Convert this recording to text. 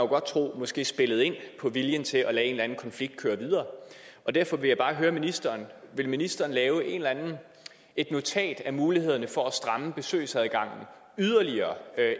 godt tro måske spillede ind på viljen til at lade en eller anden konflikt køre videre derfor vil jeg bare høre ministeren vil ministeren lave et notat om mulighederne for at stramme besøgsadgangen yderligere